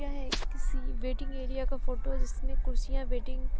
यह एक किसी वेटिंग एरिया का फोटो है जिसमें कुर्सियां वेटिंग --